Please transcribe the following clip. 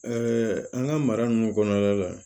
an ka mara ninnu kɔnɔna la